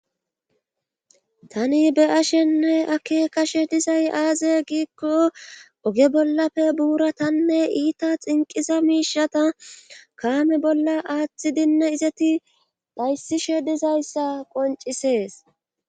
Tani be'ashenne ake kashe dizay aaze giikko oge bollafe buura tanne iita xinqiza miishata kaami bolla aaththidinne izeti dhayssishe dizayssa qoncisees.